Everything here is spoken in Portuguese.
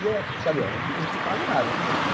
E é cabelo, eu não te pago nada.